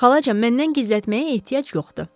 Xalacan, məndən gizlətməyə ehtiyac yoxdur.